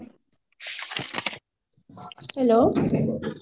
hello